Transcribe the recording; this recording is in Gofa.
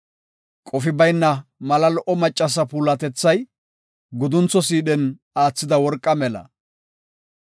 Qofi bayna mala lo77o macca puulatethay guduntho sidhen aathida worqaa mela.